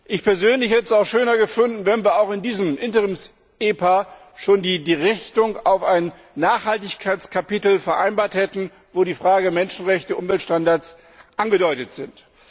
Ich persönlich hätte es schöner gefunden, wenn wir auch in diesem Interims EPA schon die Richtung auf ein Nachhaltigkeitskapitel vereinbart hätten, wo die Fragen Menschenrechte und Umweltstandards angedeutet sind.